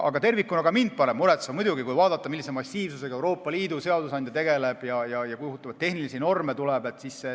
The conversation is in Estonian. Aga tervikuna paneb ka mind muidugi see muretsema, kui vaadata, millise massiivsusega Euroopa Liidu seadusandja töötab ja kui kohutavalt palju tehnilisi norme tuleb.